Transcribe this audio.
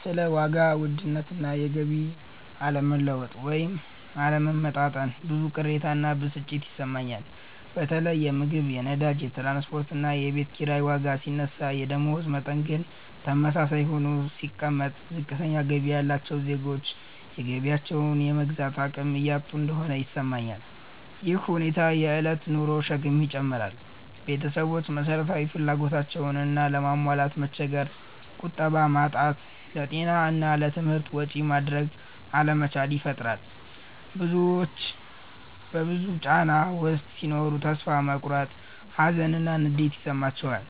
ስለ ዋጋ ውድነት እና የገቢ አለመለወጥ (ወይም አለመመጣጠን) ብዙ ቅሬታ እና ብስጭት ይሰማኛል። በተለይ የምግብ፣ የነዳጅ፣ የትራንስፖርት እና የቤት ኪራይ ዋጋ ሲነሳ የደመወዝ መጠን ግን ተመሳሳይ ሆኖ ሲቀመጥ፣ ዝቅተኛ ገቢ ያላቸው ዜጎች የገቢያቸውን የመግዛት አቅም እያጡ እንደሆነ ይሰማኛል። ይህ ሁኔታ የእለት ኑሮን ሸክም ይጨምራል – ቤተሰቦች መሰረታዊ ፍላጎቶቻቸውንም ለማሟላት መቸገር፣ ቁጠባ ማጣት፣ ለጤና እና ለትምህርት ወጪ ማድረግ አለመቻል ይፈጥራል። ብዙዎች በዚህ ጫና ውስጥ ሲኖሩ ተስፋ መቁረጥ፣ ሀዘን እና ንዴት ይሰማቸዋል፤